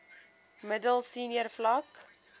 middel senior vlak